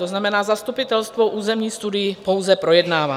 To znamená, zastupitelstvo územní studii pouze projednává.